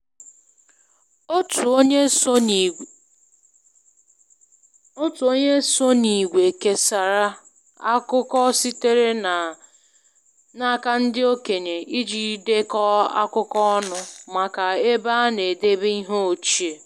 Otu onye so n’ìgwè kesara akụkọ sitere n’aka ndị okenye iji dekọọ akụkọ ọnụ maka ebe a na-edebe ihe ochie